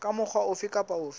ka mokgwa ofe kapa ofe